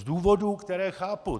Z důvodů, které chápu.